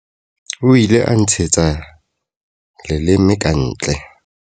O ile a nntshetsa leleme ka ntle.